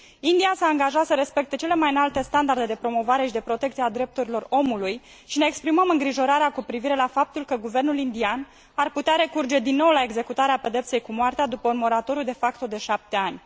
India s a angajat să respecte cele mai înalte standarde de promovare și de protecție a drepturilor omului și ne exprimăm îngrijorarea cu privire la faptul că guvernul indian ar putea recurge din nou la executarea pedepsei cu moartea după un moratoriu de șapte ani.